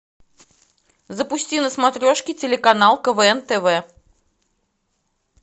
запусти на смотрешке телеканал квн тв